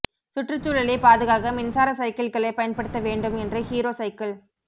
சுற்றுச்சூழலைப் பாதுகாக்க மின்சார சைக்கிள்களைப் பயன்படுத்த வேண்டும் என்று ஹீரோ சைக்கிள்